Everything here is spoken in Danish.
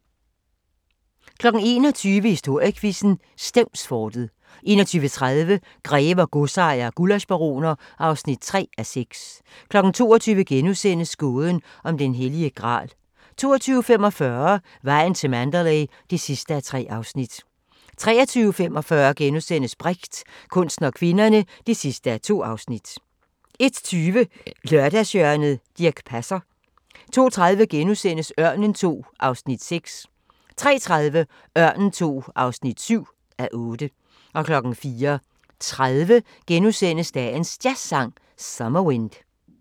21:00: Historiequizzen: Stevnsfortet 21:30: Grever, godsejere og gullaschbaroner (3:6) 22:00: Gåden om den hellige gral * 22:45: Vejen til Mandalay (3:3) 23:45: Brecht – kunsten og kvinderne (2:2)* 01:20: Lørdagshjørnet - Dirch Passer 02:30: Ørnen II (6:8)* 03:30: Ørnen II (7:8) 04:30: Dagens Jazzsang: Summer Wind *